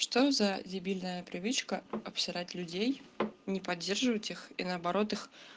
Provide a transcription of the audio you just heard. что за дебильная привычка обсирать людей не поддерживаю тех и наоборот их